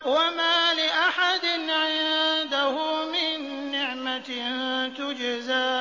وَمَا لِأَحَدٍ عِندَهُ مِن نِّعْمَةٍ تُجْزَىٰ